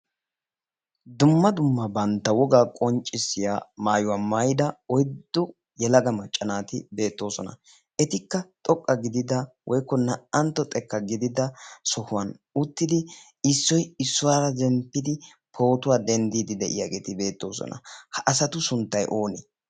dumma dumma bantta wogaa qonccissiya maayuwaa maayida oyddo yelaga macca naati beettoosona etikka xoqqa gidida woikko naa''antto xekka gidida sohuwan uttidi issoy issuwaara zemppidi pootuwaa denddiidi de'iyaageeti beettoosona ha asatu sunttay oonee